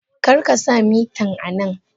Karkasa mitan anan!